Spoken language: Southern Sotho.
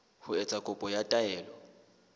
ho etsa kopo ya taelo